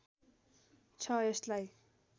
छ यसलाई